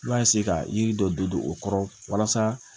I b'a ka yiri dɔ don o kɔrɔ walasa